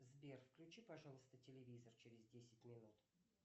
сбер включи пожалуйста телевизор через десять минут